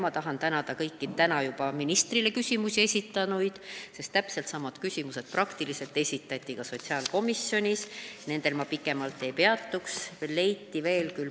Ma tahan tänada kõiki neid, kes täna ministrile küsimusi esitasid, sest samad küsimused esitati ka sotsiaalkomisjonis, nendel ma pikemalt ei peatuks.